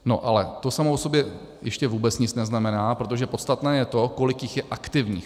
No ale to samo o sobě ještě vůbec nic neznamená, protože podstatné je to, kolik jich je aktivních.